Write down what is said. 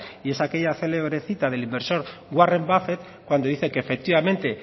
y es aquella célebre cita del inverso warren buffett cuando dice que efectivamente